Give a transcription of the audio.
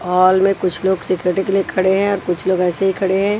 Hall में कुछ लोग सिक्योरिटी के लिए खड़े है और कुछ लोग ऐसे ही खड़े हैं।